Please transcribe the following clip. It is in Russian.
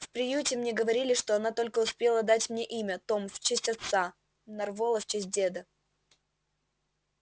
в приюте мне говорили что она только успела дать мне имя том в честь отца нарволо в честь деда